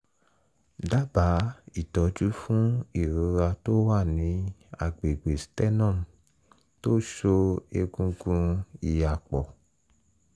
dábàá ìtọ́jú fún ìrora tó wà ní àgbègbè sternum tó so egungun ìhà pọ̀